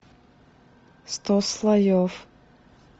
сто слоев